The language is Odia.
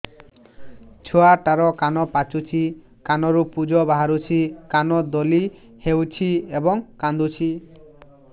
ଛୁଆ ଟା ର କାନ ପାଚୁଛି କାନରୁ ପୂଜ ବାହାରୁଛି କାନ ଦଳି ହେଉଛି ଏବଂ କାନ୍ଦୁଚି